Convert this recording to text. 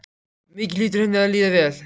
Mikið hlýtur henni að líða vel.